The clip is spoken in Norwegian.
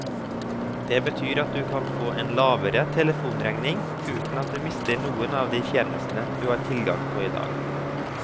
Det betyr at du kan få en lavere telefonregning, uten at du mister noen av de tjenestene du har tilgang på i dag.